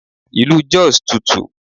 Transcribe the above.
Ilu Jos tutù.